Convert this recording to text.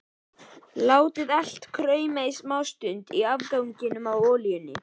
Látið allt krauma í smástund í afganginum af olíunni.